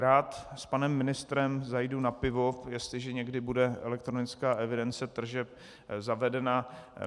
Rád s panem ministrem zajdu na pivo, jestliže někdy bude elektronická evidence tržeb zavedena.